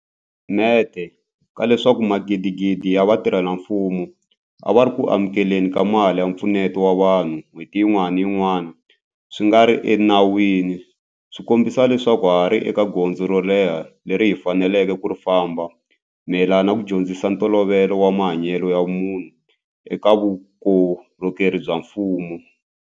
Mente ka leswaku magidigidi ya vatirhela mfumo a va ri eku amukele ni ka mali ya mpfuneto wa vanhu n'hweti yin'wana ni yin'wana swi nga ri enawini swi kombisa leswaku ha ha ri ni gondzo ro leha leri hi faneleke ku ri famba mayelana ni ku dyondzisa ntolovelo wa mahanyelo ya vumunhu eka vukorhokeri bya mfumo.